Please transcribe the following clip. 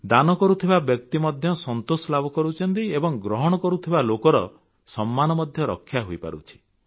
ଦାନ କରୁଥିବା ବ୍ୟକ୍ତି ମଧ୍ୟ ସନ୍ତୋଷ ଲାଭ କରୁଛନ୍ତି ଏବଂ ଗ୍ରହଣ କରୁଥିବା ଲୋକର ସମ୍ମାନ ମଧ୍ୟ ରକ୍ଷା ହୋଇପାରୁଛି